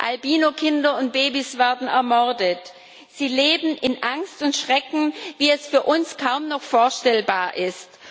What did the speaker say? Albinokinder und babys werden ermordet, sie leben in Angst und Schrecken, wie es für uns kaum noch vorstellbar ist.